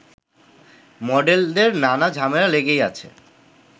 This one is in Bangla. মডেলদের নানা ঝামেলা লেগেই আছে